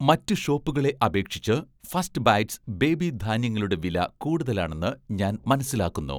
മറ്റ് ഷോപ്പുകളെ അപേക്ഷിച്ച് 'ഫസ്റ്റ് ബൈറ്റ്സ്' ബേബി ധാന്യങ്ങളുടെ വില കൂടുതലാണെന്ന് ഞാൻ മനസ്സിലാക്കുന്നു